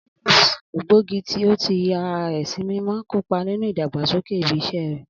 Alice, ògbógi tó ti ya ara rẹ̀ sí mímọ́, kópa nínú ìdàgbàsókè ibi iṣẹ́ rẹ̀.